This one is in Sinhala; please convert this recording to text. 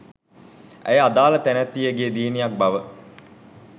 ඇය අදාළ තැනැත්තියගේ දියණියක් බව